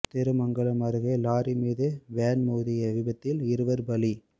திருமங்கலம் அருகே லாரி மீது வேன் மோதிய விபத்தில் இருவர் பலி